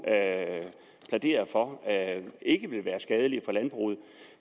plæderer for ikke vil være skadelige for landbruget